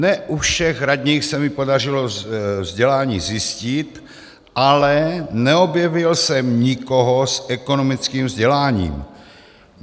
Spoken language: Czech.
Ne u všech radních se mi podařilo vzdělání zjistit, ale neobjevil jsem nikoho s ekonomickým vzděláním.